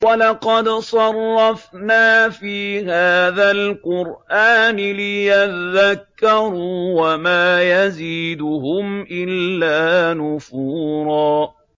وَلَقَدْ صَرَّفْنَا فِي هَٰذَا الْقُرْآنِ لِيَذَّكَّرُوا وَمَا يَزِيدُهُمْ إِلَّا نُفُورًا